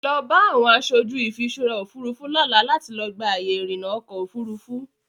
Lọ bá àwọn aṣojú ìfiṣúra Òfurufú lọ́la láti lọ gba àyè ìrìnà ọkọ Òfurufú.